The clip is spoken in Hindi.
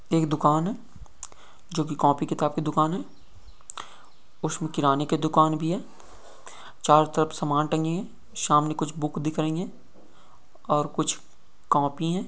एक दुकान है जो कॉपी किताब की दुकान है। उसमे किराने की दुकान भी है। चारो तरफ समान तंगी है। सामने कुछ बुक दिख रही है। और कुछ कॉपी है।